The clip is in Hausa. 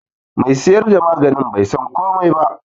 Me siyar da maganin bai san komai ba.